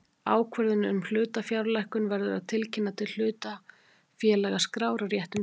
Ákvörðun um hlutafjárlækkun verður að tilkynna til hlutafélagaskrár á réttum tíma.